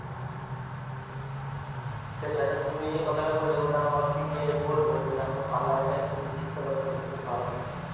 সেটা তাহলে তুমি এই যে কথাটা বললে ওটা আমার wife কে গিয়ে আমি বলবো যে দেখো parlour এর কাজটা তুমি যদি শিখতে পারো তাহলে তো খুব ভালো হয়